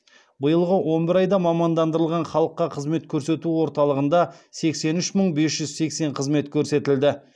биылғы он бір айда мамандандырылған халыққа қызмет көрсету орталығында сексен үш мың бес жүз сексен қызмет көрсетілді